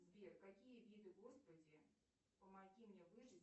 сбер какие виды господи помоги мне выжить